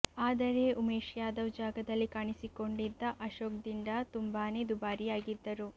ಆದರೆ ಉವೇಶ್ ಂುುಾದವ್ ಜಾಗದಲ್ಲಿ ಕಾಣಿಸಿಕೊಂಡಿದ್ದ ಅಶೋಕ್ ದಿಂಡಾ ತುಂಬಾನೇ ದುಬಾರಿಂುುಾಗಿದ್ದರು